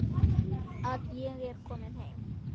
Að ég er komin heim.